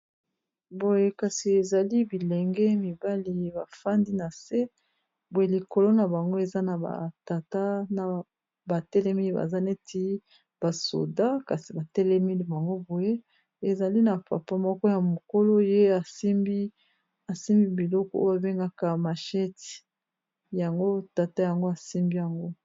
Boye kasi ezali bilenge mibali bafandi na se boye likolo na bango eza na batata na batelemile baza neti basoda kasi batelemile bango boye ezali na papa moko ya mokolo ye miasimbi biloko oyo abengaka mashet yango tata yango asimbi yango.